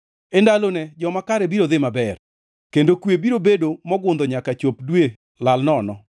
E ndalone joma kare biro dhi maber, kendo kwe biro bedo mogundho nyaka chop dwe lal nono.